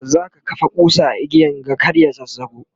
zaka kafa kusa a igiyan ga kar ya zazzago?